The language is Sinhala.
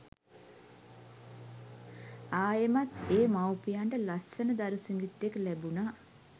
ආයෙමත් ඒ මව්පියන්ට ලස්සන දරු සිඟිත්තෙක් ලැබුනා.